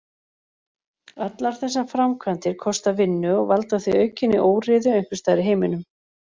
Allar þessar framkvæmdir kosta vinnu og valda því aukinni óreiðu einhvers staðar í heiminum.